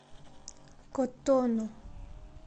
котону